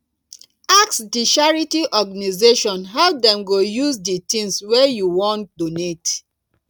ask di charity organisation how dem go use di things wey you wan donate